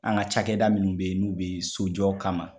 An ka cakɛda minnu be yen n'u be sojɔ kama